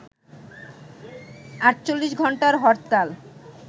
৪৮ ঘণ্টার হরতাল